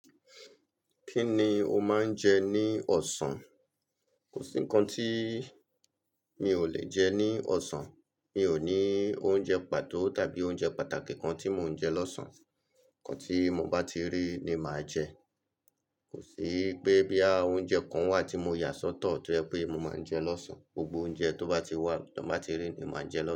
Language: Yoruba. Kí ni o máa ń jẹ ní ọ̀sán? Kò sí kan tí mi ò lè jẹ ní ọ̀sán. Mi ò ní oúnjẹ pàtó tàbí oúnjẹ pàtàkì kan tí mò ń jẹ lọ́sàn-án. Ǹkan tí mo bá ti rí ni máa jẹ. Kò sí pé boya oúnjẹ kan wà tí mo yà sọ́tọ̀ tó jẹ pé mo máa ń jẹ lọ́sán. Gbogbo oúnjẹ tó bá ti wà, ton bá ti rí ni máa jẹ lọ́sán.